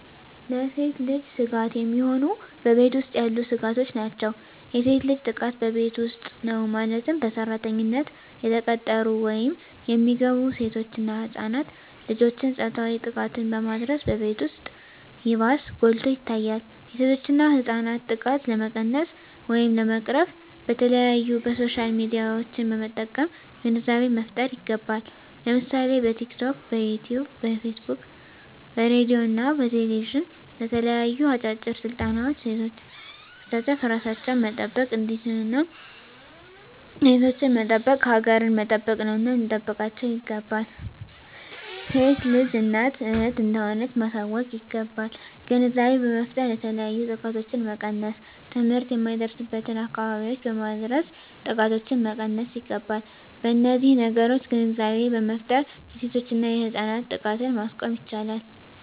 ለሴት ልጅ ስጋት የሚሆኑ በቤት ውስጥ ያሉ ስጋቶች ናቸው። የሴት ልጅ ጥቃት በቤት ውስጥ ነው ማለትም በሰራተኝነት የተቀጠሩ ወይም የሚገቡ ሴቶች እና ህፃናት ልጆችን ፆታዊ ጥቃትን በማድረስ በቤት ውስጥ ይባስ ጎልቶ ይታያል የሴቶችና ህፃናት ጥቃት ለመቀነስ ወይም ለመቅረፍ በተለያዪ በሶሻል ሚዲያዎችን በመጠቀም ግንዛቤ መፍጠር ይገባል ለምሳሌ በቲክቶክ, በዩቲቪ , በፌስቡክ በሬድዬ እና በቴሌቪዥን በተለያዩ አጫጭር ስልጠናዎች ሴቶችን በማሳተፍ እራሳቸውን መጠበቅ እንዲችሉና ሴቶችን መጠበቅ ሀገርን መጠበቅ ነውና ልንጠብቃቸው ይገባል። ሴት ልጅ እናት እህት እንደሆነች ማሳወቅ ይገባል። ግንዛቤ በመፍጠር የተለያዩ ጥቃቶችን መቀነስ ትምህርት የማይደርስበትን አካባቢዎች በማድረስ ጥቃቶችን መቀነስ ይገባል። በነዚህ ነገሮች ግንዛቤ በመፍጠር የሴቶችና የህፃናት ጥቃትን ማስቆም ይቻላል።